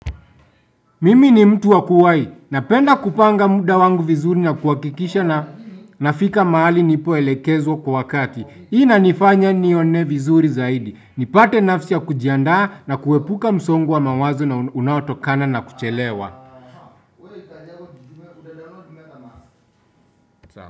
Mimi ni mtu wa kuwai. Napenda kupanga muda wangu vizuri na kuhakikisha na nafika mahali nipoelekezwa kwa wakati. Hii inanifanya nione vizuri zaidi. Nipate nafsi ya kujiandaa na kuepuka msongo wa mawazo na unaotokana na kuchelewa.